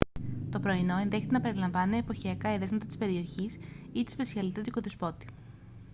το πρωινό ενδέχεται να περιλαμβάνει εποχιακά εδέσματα της περιοχής ή τη σπεσιαλιτέ του οικοδεσπότη